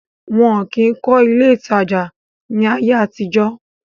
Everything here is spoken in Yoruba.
wọn kìí kọ́ ilé ìtajà ní ayé àtijọ́.